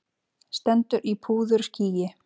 Stendur í púðurskýi.